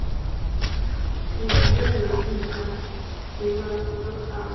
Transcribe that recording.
hu dzhielwe ntha divhazwakale na